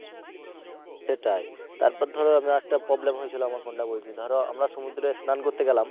সেটাই তারপর ধরো আমরা একটা problem হয়েছিলো আমার point বলছি ধরো আমরা সমুদ্রে স্নান করতে গেলাম।